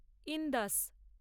Indas